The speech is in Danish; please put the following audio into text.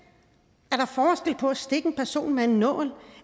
er på at stikke en person med en nål